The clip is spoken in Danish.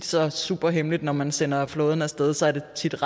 så super hemmeligt når man sender flåden afsted så er det tit